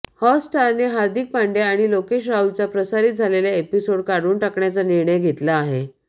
हॉटस्टारने हार्दिक पांड्या आणि लोकेश राहुलचा प्रसारित झालेला एपिसोड काढून टाकण्याचा निर्णय घेतला आहे